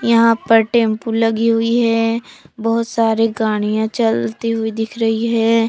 यहां पर टेंपो लगी हुई है बहुत सारी गाड़ियां चलती हुई दिख रही है।